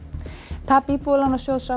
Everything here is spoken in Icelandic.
tap Íbúðalánajóðs á